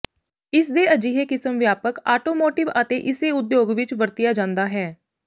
ਇਸ ਦੇ ਅਜਿਹੇ ਕਿਸਮ ਵਿਆਪਕ ਆਟੋਮੋਟਿਵ ਅਤੇ ਇਸੇ ਉਦਯੋਗ ਵਿੱਚ ਵਰਤਿਆ ਜਾਦਾ ਹੈ